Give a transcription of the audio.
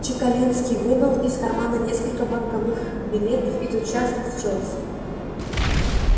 чекалинский вынул из кармана несколько банковых билетов и тотчас расчёлся